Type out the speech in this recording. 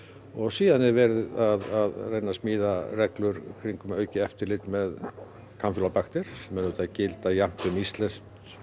og síðan er verið að reyna að smíða reglur í kringum aukið eftirlit með kampýlóbakter sem auðvitað gilda jafnt um íslensk